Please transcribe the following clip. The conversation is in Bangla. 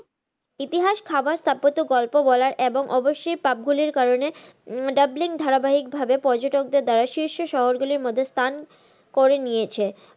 ইতিহাস, খাবার, স্থাপত্য, গল্প বলার এবং অবশ্যই pub গুলির কারনে Dublin ধারাবাহিক ভাবে পর্যটকদের দ্বারা শীর্ষ শহর গুলির মধ্যে স্থান করে নিয়েছে।